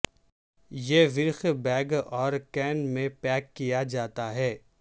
یہ ورق بیگ اور کین میں پیک کیا جاتا ہے